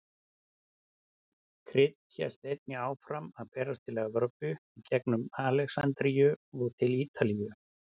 Krydd hélt einnig áfram að berast til Evrópu í gengum Alexandríu og til Ítalíu.